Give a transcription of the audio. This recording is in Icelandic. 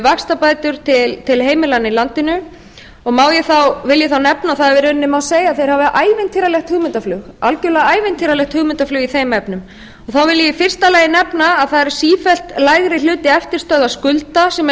vaxtabætur til heimilanna í landinu vil ég þá nefna að í rauninni má segja að þeir hafi ævintýralegt hugmyndaflug algerlega ævintýralegt hugmyndaflug í þeim efnum þá vil ég í fyrsta lagi nefna að það er sífellt lægri hluti eftirstöðvar skulda sem eru